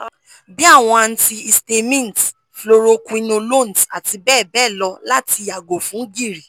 bii awọn antihistamines fluoroquinolones ati bẹbẹ lọ lati yago fun giri